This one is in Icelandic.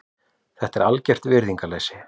Þetta er algert virðingarleysi.